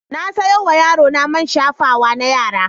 Na sayo wa yarona man shafawa na yara.